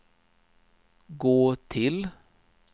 gå till